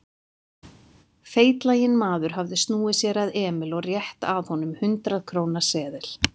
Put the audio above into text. Feitlaginn maður hafði snúið sér að Emil og rétti að honum hundrað-króna seðil.